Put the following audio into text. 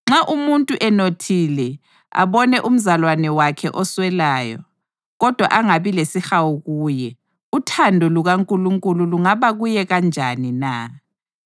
Nxa umuntu enothile abone umzalwane wakhe oswelayo, kodwa angabi lesihawu kuye, uthando lukaNkulunkulu lungaba kuye kanjani na?